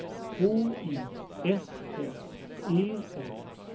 H I S S E N